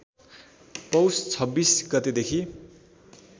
पौष २६ गतेदेखि